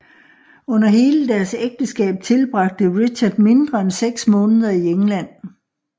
Under hele deres ægteskab tilbragte Richard mindre end seks måneder i England